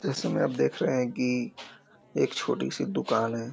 जैसे में आप देख रहें हैं कि एक छोटी सी दुकान है।